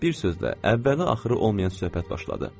Bir sözlə, əvvəli-axırı olmayan söhbət başladı.